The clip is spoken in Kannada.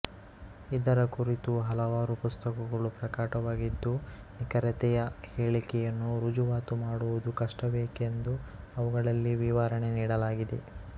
ಇದರ ಕುರಿತು ಹಲವಾರು ಪುಸ್ತಕಗಳು ಪ್ರಕಟವಾಗಿದ್ದು ನಿಖರತೆಯ ಹೇಳಿಕೆಯನ್ನು ರುಜುವಾತು ಮಾಡುವುದು ಕಷ್ಟವೇಕೆಂದು ಅವುಗಳಲ್ಲಿ ವಿವರಣೆ ನೀಡಲಾಗಿದೆ